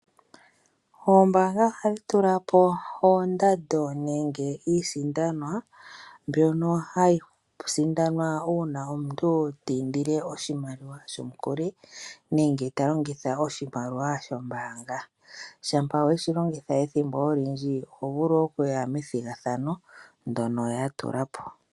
Oombaanga ohadhi tulapo oondando nenge iisindanwa mbyono hayi sindanwa uuna omuntu tiindile oshimaliwa shomukuli nenge talongitha oshimaliwa shombaanga. Shampa weshilongitha ethimbo olindji ohovulu okuya methigathano ndono yatulapo.